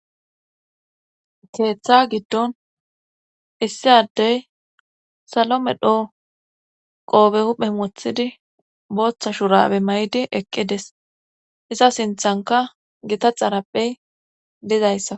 Keeththa giddon issi addey salome dhoo qoobe huphe wothidi booththa shurabe may7di eqqides iza sinthanka gita xarappey dizayssa.